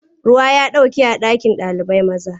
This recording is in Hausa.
Ruwa ya ɗauke a ɗakin ɗalibai. maza.